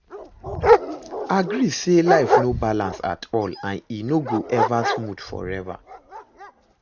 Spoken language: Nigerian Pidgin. Agree say life no balance at all and e no go ever smooth forever